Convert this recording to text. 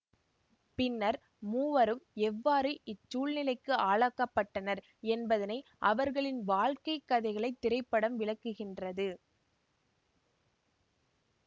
பின்னர் மூவரும் எவ்வாறு இச்சூழ்நிலைக்கு ஆளாக்கப்பட்டனர் என்பதனை அவர்களின் வாழ்க்கைக் கதைகளை திரைப்படம் விளக்குகின்றது